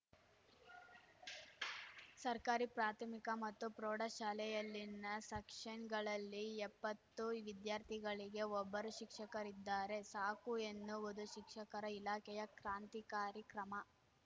ಸರ್ಕಾರಿ ಪ್ರಾಥಮಿಕ ಮತ್ತು ಪ್ರೌಢ ಶಾಲೆಯಲ್ಲಿನ ಸೆಕ್ಷನ್‌ಗಳಲ್ಲಿ ಎಪ್ಪತ್ತು ವಿದ್ಯಾರ್ಥಿಗಳಿಗೆ ಒಬ್ಬರು ಶಿಕ್ಷಕರಿದ್ದಾರೆ ಸಾಕು ಎನ್ನುವುದು ಶಿಕ್ಷಣ ಇಲಾಖೆಯ ಕ್ರಾಂತಿಕಾರಿ ಕ್ರಮ